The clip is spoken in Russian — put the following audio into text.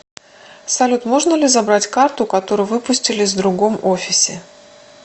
салют можно ли забрать карту которую выпустили с другом офисе